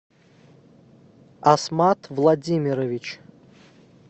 асмат владимирович